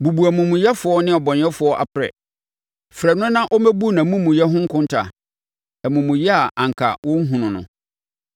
Bubu omumuyɛfoɔ ne ɔbɔnefoɔ aprɛ; frɛ no na ɔmmɛbu nʼamumuyɛ ho nkontaa, amumuyɛ a anka wɔrenhunu no.